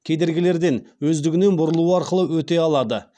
кедергілерден өздігінен бұрылу арқылы өте алады